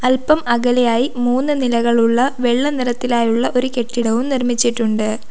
അൽപ്പം അകലെയായി മൂന്ന് നിലകളുള്ള വെള്ള നിറത്തിലായുള്ള ഒരു കെട്ടിടവും നിർമിച്ചിട്ടുണ്ട്.